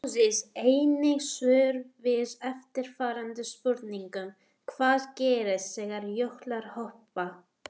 Skoðið einnig svör við eftirfarandi spurningum Hvað gerist þegar jöklar hopa?